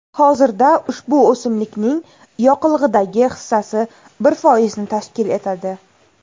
Hozirda ushbu o‘simlikning yoqilg‘idagi hissasi bir foizni tashkil etadi.